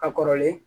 A kɔrɔlen